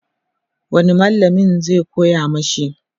wani mallamin zai koya mashi?